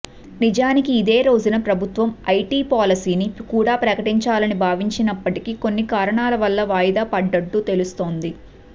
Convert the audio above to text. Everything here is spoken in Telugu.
నిజానికి ఇదే రోజున ప్రభుత్వం ఐటి పాలసీని కూడా ప్రకటించాలని భావించినప్పటికీ కొన్ని కారణాల వల్ల వాయిదా పడ్డట్టు తెలుస్తోంది